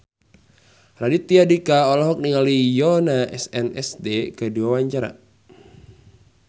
Raditya Dika olohok ningali Yoona SNSD keur diwawancara